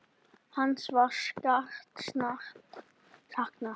Hans var sárt saknað.